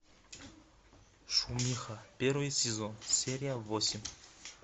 шумиха первый сезон серия восемь